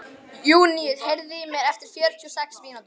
Júníus, heyrðu í mér eftir fjörutíu og sex mínútur.